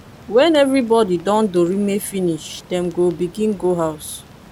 wen evribody don dorime finish dem go begin go house